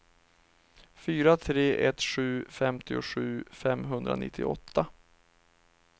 fyra tre ett sju femtiosju femhundranittioåtta